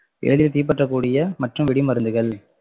எளிதில் தீ பற்றக்கூடிய மற்றும் வெடிமருந்துகள்